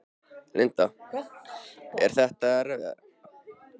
Linda: Er það erfiðara?